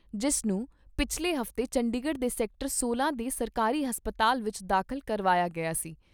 ਜਿਸ ਨੂੰ ਪਿਛਲੇ ਹਫ਼ਤੇ ਚੰਡੀਗੜ੍ਹ ਦੇ ਸੈਕਟਰ ਸੋਲਾਂ ਦੇ ਸਰਕਾਰੀ ਹਸਪਤਾਲ ਵਿਚ ਦਾਖਲ ਕਰਵਾਇਆ ਗਿਆ ਸੀ।